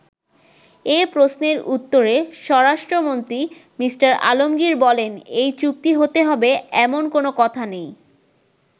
এ প্রশ্নের উত্তরে স্বরাষ্ট্রমন্ত্রী মি: আলমগির বলেন, “এই চুক্তি হতে হবে, এমন কোন কথা নেই।